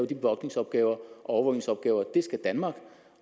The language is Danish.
de bevogtningsopgaver og overvågningsopgaver for skal danmark